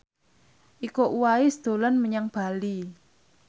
Iko Uwais dolan menyang Bali